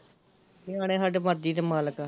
ਨਿਆਣੇ ਸਹਡੇ ਮਰਜ਼ੀ ਦੇ ਮਾਲਕ ਆ